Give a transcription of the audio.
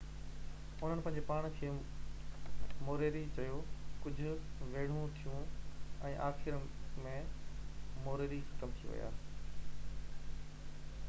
انهن پنهنجي پاڻ کي موريري چيو ڪجهہ ويڙهون ٿيون ۽ آخر ۾ موريري ختم ٿي ويا